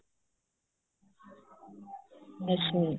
ਅੱਛਾ ਜੀ